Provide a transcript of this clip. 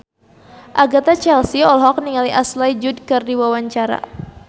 Agatha Chelsea olohok ningali Ashley Judd keur diwawancara